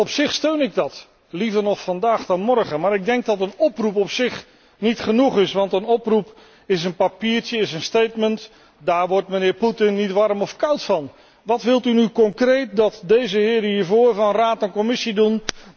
Op zich steun ik dat, liever nog vandaag dan morgen, maar ik denk dat een oproep op zich niet genoeg is, want een oproep is een papiertje, een daar wordt de heer Poetin niet koud of warm van. Wat wilt u nu concreet dat deze heren hier vooraan van Raad en Commissie doen?